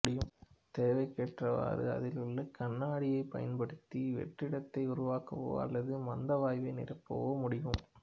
தேவைக்கேற்றவாறு அதில் உள்ள கண்ணாடியைப் பயன்படுத்தி வெற்றிடத்தை உருவாக்கவோ அல்லது மந்த வாயுவை நிரப்பவோ முடியம்